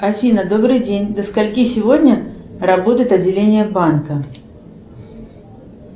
афина добрый день до скольки сегодня работает отделение банка